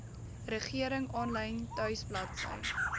regering aanlyn tuisbladsy